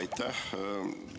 Aitäh!